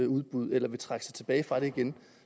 udbud eller trække sig tilbage fra dem igen